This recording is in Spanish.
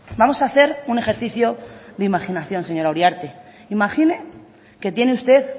vamos a hacer un ejercicio de imaginación señora uriarte imagine que tiene usted